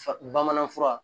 Bamanan fura